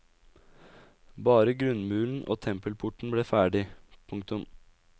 Bare grunnmuren og tempelporten ble ferdig. punktum